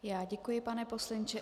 Já děkuji, pane poslanče.